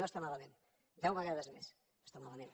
no està malament deu vegades més no està malament